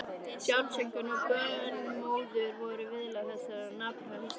Sjálfsaumkun og bölmóður voru viðlag þessa napra haustdags.